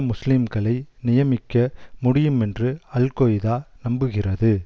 முஸ்லீம்களை நியமிக்க முடியுமென்று அல் கொய்தா நம்புகிறது